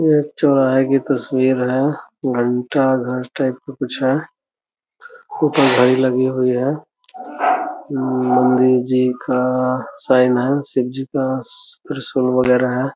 यह एक चौराहे की तस्वीर है। घंटा घर टाइप का कुछ है। ऊपर घड़ी लगी हुई है। नन्दी जी का साईन है। शिवजी का त्रिशूल वगैरह है।